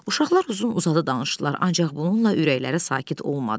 Uşaqlar uzun-uzadı danışdılar, ancaq bununla ürəkləri sakit olmadı.